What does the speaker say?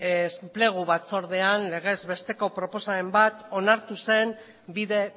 enplegu batzordean legezbesteko proposamen bat onartu zen bide